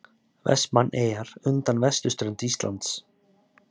Vestmannaeyjar undan vesturströnd Íslands.